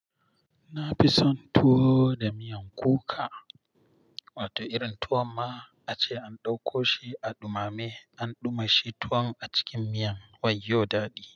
Na fi son tuwo da miyan kuka, wato irin tuwon ma ace an ɗauko shi a ɗumame, an ɗumashi tuwon a cikin miyan wayo daɗi.